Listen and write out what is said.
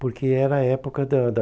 Porque era a época da da